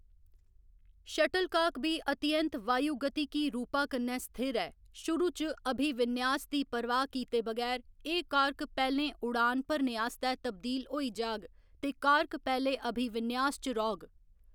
Shuttlecock बी अतिऐंत वायुगतिकी रूपा कन्नै स्थिर ऐ शुरू च अभिविन्यास दी परवाह्‌‌ कीते बगैर, एह्‌‌ कार्क पैह्‌लें उड़ान भरने आस्तै तब्दील होई जाह्‌ग ते कार्क पैह्‌‌ले अभिविन्यास च रौह्‌‌‌ग।